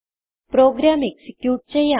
programme execute ചെയ്യാം